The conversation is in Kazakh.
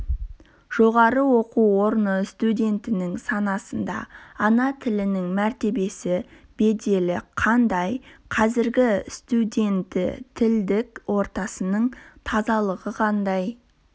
жоғары оқу орны студентінің санасында ана тілінің мәртебесі беделі қандай қазіргі студенті тілдік ортасының тазалығы қандай